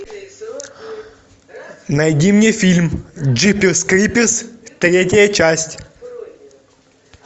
найди мне фильм джиперс криперс третья часть